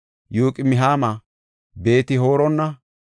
Yoqim7aama, Beet-Horona,